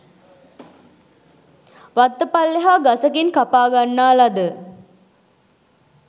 වත්ත පල්ලෙහා ගසකින් කපා ගන්නා ලද